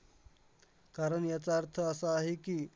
कारण याचा अर्थ असा आहे की,